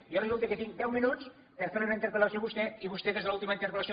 jo resulta que tinc deu minuts per fer li una interpel·lació a vostè i vostè des de l’última interpel·lació